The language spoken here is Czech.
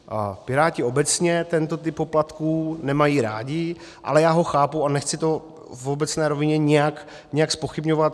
Piráti obecně tento typ poplatků nemají rádi, ale já ho chápu a nechci to v obecné rovině nějak zpochybňovat.